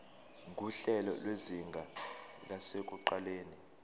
nguhlelo lwezinga lasekuqaleni